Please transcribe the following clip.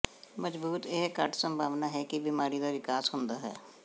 ਮਜ਼ਬੂਤ ਇਹ ਘੱਟ ਸੰਭਾਵਨਾ ਹੈ ਕਿ ਬਿਮਾਰੀ ਦਾ ਵਿਕਾਸ ਹੁੰਦਾ ਹੈ